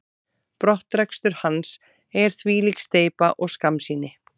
Brottrekstur hans er þvílík steypa og skammsýni.